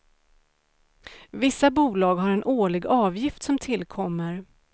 Vissa bolag har en årlig avgift som tillkommer.